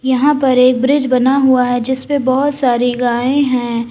यहां पर एक ब्रिज बना हुआ है जिस पर बहोत सारी गाये हैं।